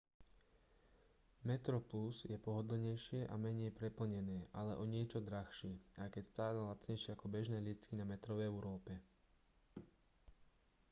metroplus je pohodlnejšie a menej preplnené ale o niečo drahšie aj keď stále lacnejšie ako bežné lístky na metro v európe